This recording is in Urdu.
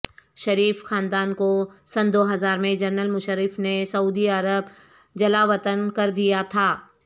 شریف خاندان کو سن دوہزار میں جنرل مشرف نے سعودی عرب جلاوطن کر دیا تھا